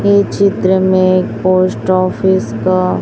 ये चित्र में पोस्ट ऑफिस का--